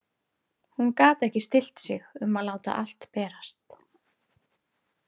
Hún gat ekki stillt sig um að láta allt berast.